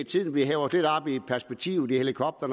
til at vi hæver